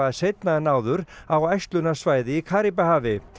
seinna en áður á í Karíbahafi